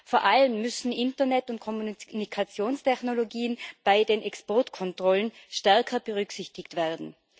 Vor allem müssen Internet und Kommunikationstechnologien bei den Exportkontrollen stärker berücksichtigt werden.